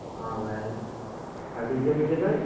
ହଁ ଭାଇ। ଆଉ DJ ମିଯେ ପାଇଁ?